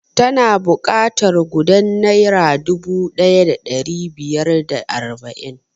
Ina buƙatar gudan naira dubu ɗaya da ɗari biyar da arba'in